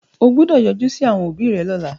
O gbọ́dọ̀ yọjú sí àwọn òbí rẹ lọ́la.